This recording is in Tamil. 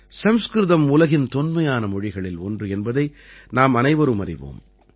சம்ஸ்கிருதம் உலகின் தொன்மையான மொழிகளில் ஒன்று என்பதை நாம் அனைவரும் அறிவோம்